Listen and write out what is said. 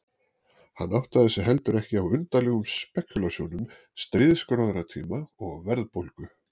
Hann áttaði sig heldur ekki á undarlegum spekúlasjónum stríðsgróðatíma og verðbólgu.